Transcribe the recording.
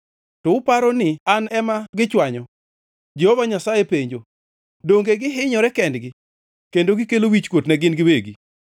To uparo ni An ema gichwanyo? Jehova Nyasaye penjo. Donge gihinyore kendgi, kendo gikelo wichkuot ne gin giwegi?